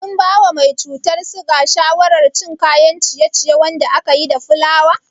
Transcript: Kin bawa mai cutar siga shawarar cin kayan ciye-ciye wanda akayi da fulawa?